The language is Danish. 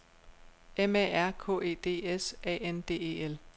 M A R K E D S A N D E L